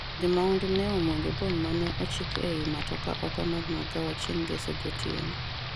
jo mahundu ne omuojo mbom mane ochik ei matoka oko mar magawano chieng' ngeso gotieno